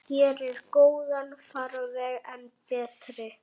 Gerir góðan farveg enn betri.